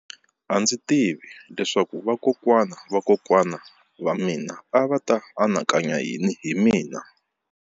A ndzi tivi leswaku vakokwana-va-vakokwana va mina a va ta anakanya yini hi mina.